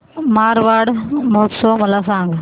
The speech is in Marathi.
मारवाड महोत्सव मला सांग